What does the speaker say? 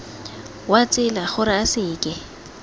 wa tsela gore a seke